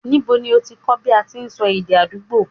Ńibo ní ọ ti kọ́ bí a ṣe sọ èdè àdúgbò?